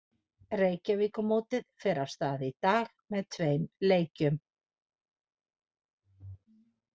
Reykjavíkurmótið fer af stað í dag með tveim leikjum.